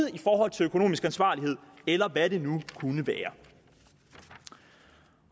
i forhold til økonomisk ansvarlighed eller hvad det nu kunne være